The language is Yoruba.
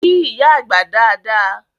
Kí ìyá àgbà dada!